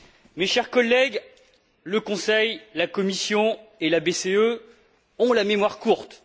Mes chers collègues, le Conseil, la Commission et la BCE ont la mémoire courte.